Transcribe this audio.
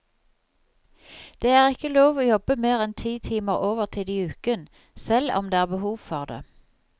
Det er ikke lov å jobbe mer enn ti timer overtid i uken, selv om det er behov for det.